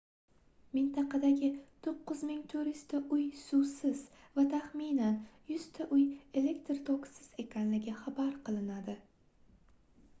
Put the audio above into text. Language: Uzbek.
mintaqadagi 9400 ta uy suvsiz va taxminan 100 ta uy elektr tokisiz ekanligi xabar qilinadi